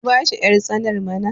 ku bashi yartsanar mana!